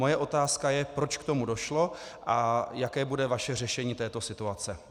Moje otázka je, proč k tomu došlo a jaké bude vaše řešení této situace.